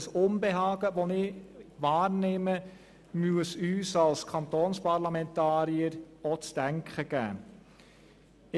Das Unbehagen, das ich wahrnehme, muss uns auch als Kantonsparlamentarier zu denken geben.